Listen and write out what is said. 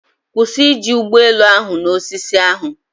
Kwụsị iji ụgbọ elu ahụ na osisi ahụ!.